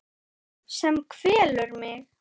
Sem kvelur mig.